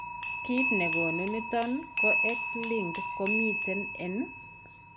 Kiit negonu niton ko X linked ko miten en